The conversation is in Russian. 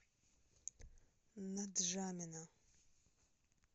нджамена